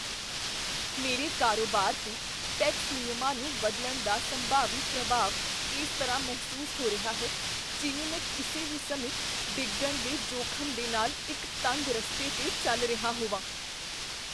ਮੇਰੇ ਕਾਰੋਬਾਰ 'ਤੇ ਟੈਕਸ ਨਿਯਮਾਂ ਨੂੰ ਬਦਲਣ ਦਾ ਸੰਭਾਵੀ ਪ੍ਰਭਾਵ ਇਸ ਤਰ੍ਹਾਂ ਮਹਿਸੂਸ ਹੋ ਰਿਹਾ ਹੈ ਜਿਵੇਂ ਮੈਂ ਕਿਸੇ ਵੀ ਸਮੇਂ ਡਿੱਗਣ ਦੇ ਜੋਖਮ ਦੇ ਨਾਲ ਇੱਕ ਤੰਗ ਰਸਤੇ 'ਤੇ ਚੱਲ ਰਿਹਾ ਹੋਵਾਂ।